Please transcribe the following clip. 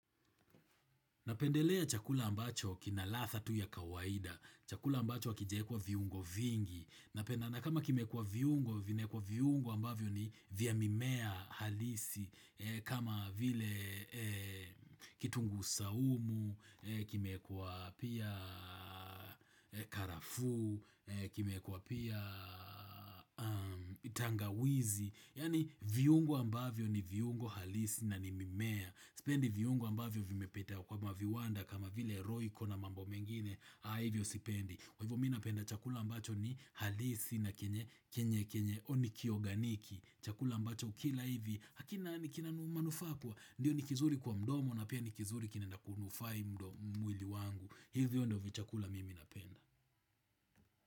Napendelea chakula ambacho kina ladha tu ya kawaida. Chakula ambacho hakijaekwa viungo vingi. Napendanga kama kimeekwa viungo, vimewekwa viungo ambavyo ni vya mimea halisi. Kama vile kitunguu saumu, kimeekwa pia karafuu, kimeekwa pia tangawizi. Yaani viungo ambavyo ni viungo halisi na ni mimea. Sipendi viungo ambavyo vimepita kwa maviwanda kama vile royco na mambo mengine. Ha hivyo sipendi. Kwa hivyo mi napenda chakula ambacho ni halisi na kenye kenye au ni kioganiki. Chakula ambacho ukila hivi hakina ni kina manufaa poa. Ndio ni kizuri kwa mdomo na pia ni kizuri kinaenda kunufai mwili wangu. Hivyo ndio vichakula mimi napenda.